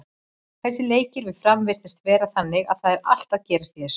Þessir leikir við Fram virðast vera þannig að það er allt að gerast í þessu.